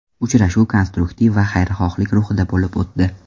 Uchrashuv konstruktiv va xayrixohlik ruhida bo‘lib o‘tdi.